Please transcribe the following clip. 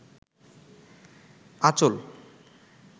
আচল